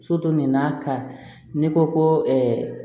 nin n'a ka n'i ko ko